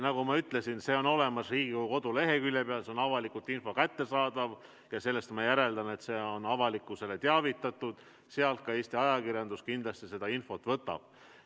Nagu ma ütlesin, see info on olemas Riigikogu koduleheküljel, see on avalikult kättesaadav ja sellest ma järeldan, et avalikkust on teavitatud, sest sealt ka Eesti ajakirjandus kindlasti oma infot võtab.